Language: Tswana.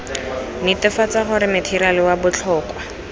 netefatsa gore matheriale wa botlhokwa